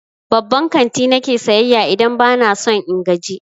Babban kanti na ke sayayya idan ba na son in gaji.